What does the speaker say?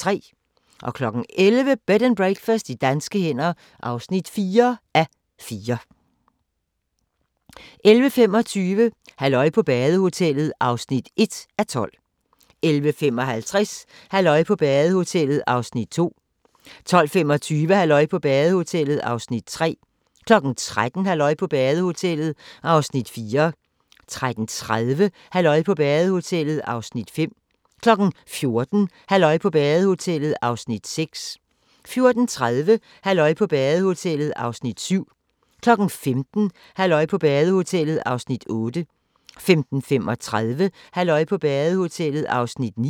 11:00: Bed and Breakfast i danske hænder (4:4) 11:25: Halløj på badehotellet (1:12) 11:55: Halløj på badehotellet (2:12) 12:25: Halløj på badehotellet (3:12) 13:00: Halløj på badehotellet (4:12) 13:30: Halløj på badehotellet (5:12) 14:00: Halløj på badehotellet (6:12) 14:30: Halløj på badehotellet (7:12) 15:00: Halløj på badehotellet (8:12) 15:35: Halløj på badehotellet (9:12)